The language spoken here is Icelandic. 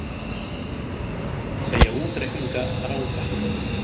Segja útreikninga ranga